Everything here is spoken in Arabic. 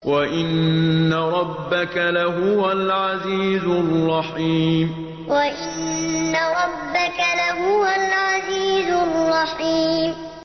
وَإِنَّ رَبَّكَ لَهُوَ الْعَزِيزُ الرَّحِيمُ وَإِنَّ رَبَّكَ لَهُوَ الْعَزِيزُ الرَّحِيمُ